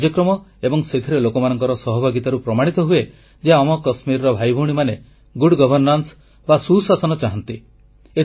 ଏଭଳି କାର୍ଯ୍ୟକ୍ରମ ଏବଂ ସେଥିରେ ଲୋକମାନଙ୍କର ସହଭାଗିତାରୁ ପ୍ରମାଣିତ ହୁଏ ଯେ ଆମ କାଶ୍ମୀରର ଭାଇଭଉଣୀମାନେ ସୁଶାସନ ଚାହାଁନ୍ତି